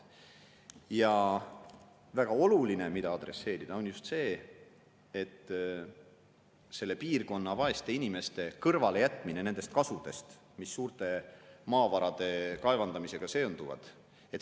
Ja väga oluline, millele, on just see, et selle piirkonna vaesed inimesed kõrvale nendest kasudest, mis maavarade kaevandamisega seonduvad.